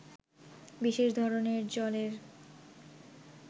বিশেষ ধরণের জলের